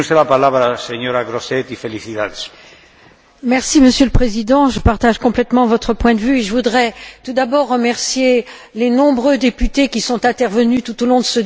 Monsieur le Président, je partage complètement votre point de vue et je voudrais tout d'abord remercier les nombreux députés qui sont intervenus tout au long de ce débat pour soutenir cette directive.